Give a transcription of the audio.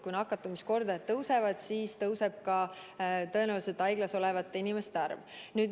Kui nakatumiskordaja tõuseb, siis tõenäoliselt haiglas olevate inimeste arv kasvab.